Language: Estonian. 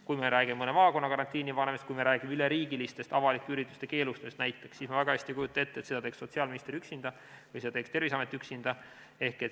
Kui me räägime mõne maakonna karantiini panemisest, kui me räägime üleriigilisest avalike ürituste keelustamisest näiteks, siis ma väga hästi ei kujuta ette, et seda teeks sotsiaalminister üksinda või seda teeks Terviseamet üksinda.